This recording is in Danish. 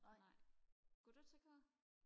nej går du til kor